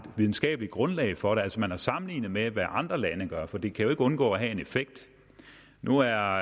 videnskabeligt grundlag for det altså om man har sammenlignet med hvad andre lande gør for det kan jo ikke undgå at have en effekt nu er